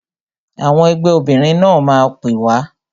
Àwọn ẹgbẹ́ obìnrin náà máa pè wá